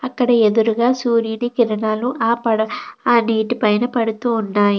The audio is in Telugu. అక్కడ ఎదురుగా సూర్యుని కిరణాలు ఆ పడ ఆ నీటి పైన పడుతుంటాయి.